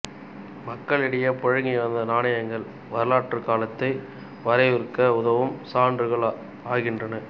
மக்களிடையே புழங்கி வந்த நாணயங்கள் வரலாற்றுக் காலத்தை வரையறுக்க உதவும் சான்றுகள் ஆகின்றன